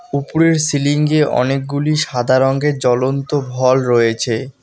ওপরের সিলিঙ্গে অনেকগুলি সাদা রঙের জ্বলন্ত ভল রয়েছে।